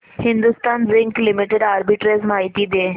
Hindustan zinc limited arbitrage माहिती दे